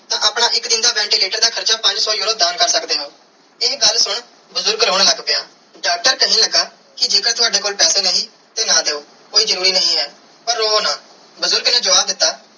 ਤੇ ਆਪਣੇ ਇਕ ਦਿਨ ਦੇ ventilator r ਦਾ ਹਾਰਚਾ ਪੰਜ ਸੋ euro ਦਾਨ ਕਰ ਸਕਦੇ ਓ ਇਹ ਗੱਲ ਸੁਨ ਬੁਜ਼ਰਗ ਰੋਂ ਲੱਗ ਪਿਆ ਡਾਕਟਰ ਕੇਹਨ ਲਗਾ ਕੇ ਜੇ ਕਰ ਤਾਵਦੇ ਕੋਲ ਪੈਸੇ ਨਹੀਂ ਤੇ ਨਾ ਦਿਯੋ ਕੋਈ ਜਰੂਰੀ ਨਾਈ ਹੈ ਪਾਰ ਰੋਵੋ ਨਾ ਬੁਜ਼ਰਗ ਨੇ ਜਵਾਬ ਦਿੱਤਾ.